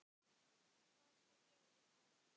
Hvað skal gera við Kára?